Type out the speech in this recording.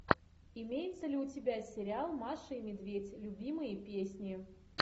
имеется ли у тебя сериал маша и медведь любимые песни